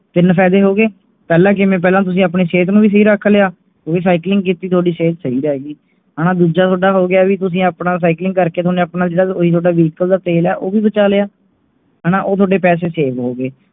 ਤਿੰਨ ਫਾਇਦੇ ਹੋ ਗਏ ਪਹਿਲਾ ਕਿਵੇਂ ਪਹਿਲਾਂ ਤੁਸੀਂ ਆਪਣੀ ਸੇਹਤ ਨੂੰ ਵੀ ਸਹੀ ਰੱਖ ਲਿਆ ਤੁਸੀਂ cycling ਕੀਤੀ ਤੁਹਾਡੀ ਸਿਹਤ ਸਹੀ ਰਹਿ ਗਏ ਦੂਜਾ ਥੋਡਾ ਹੋ ਗਿਆ ਵੀ ਤੁਸੀਂ ਆਪਣਾ cycling ਕਰਕੇ ਤੁਹਾਡੇ ਆਪਣੇ vehicle ਦਾ ਤੇਲ ਹੈ ਉਹ ਵੀ ਬਚਾ ਲਿਆ, ਉਹ ਤੁਹਾਡੇ ਪੈਸੇ save ਹੋਗਏ